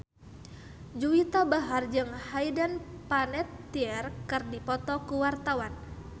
Juwita Bahar jeung Hayden Panettiere keur dipoto ku wartawan